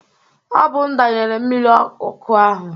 Ọ bụ m danyere mmiri ọkụ ahụ.